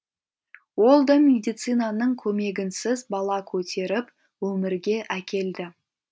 ол да медицинаның көмегінсіз бала көтеріп өмірге әкелді